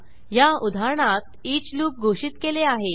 या उदाहरणात each loop घोषित केले आहे